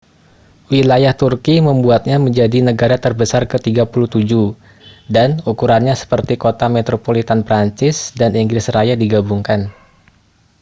wilayah turki membuatnya menjadi negara terbesar ke 37 dan ukurannya seperti kota metropolitan prancis dan inggris raya digabungkan